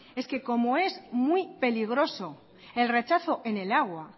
es que como es muy peligroso el rechazo en el agua